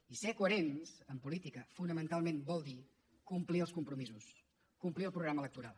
i ser coherents en política fonamentalment vol dir complir els compromisos complir el programa electoral